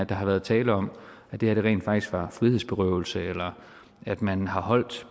der har været tale om at det her rent faktisk var frihedsberøvelse eller at man har holdt